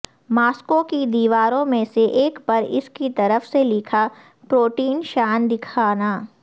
Moscow کی دیواروں میں سے ایک پر اس کی طرف سے لکھا پروٹین شان دکھانا